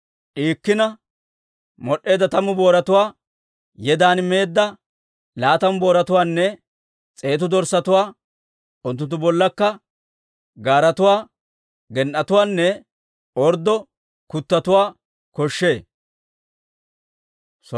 d'iikkina mod'd'eedda tammu booratuwaa, yedan meedda laatamu booratuwaanne s'eetu dorssatuwaa, unttunttu bollakka gaaratuwaa, gen"etuwaanne orddo kuttotuwaa koshshee.